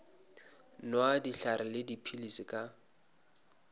nwa dihlare le dipilisi ka